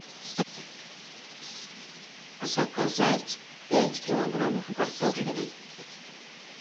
заказать пять килограммов картофеля